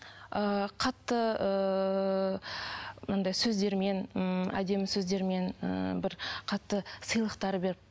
ыыы қатты ыыы мынандай сөздермен ммм әдемі сөздермен ііі бір қатты сыйлықтар беріп